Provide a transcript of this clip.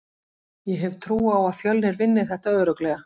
Ég hef trú á að Fjölnir vinni þetta örugglega.